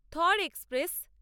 Thar express